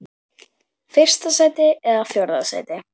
Fyrsta sæti eða fjórða sæti?